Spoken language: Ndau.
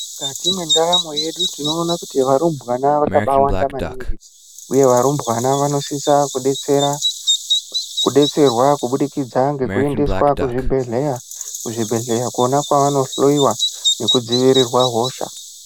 Mukati mwendaramo yedu tinoona kuti varumbwana vakabaawanda maningi uye varumbwana vanosisa kudetsera, kudetserwa kubudikidza ngekuendeswa kuzvibhehleya. Kuzvibhehleya kona kwavanohloyiwa nekudzivirirwa hosha.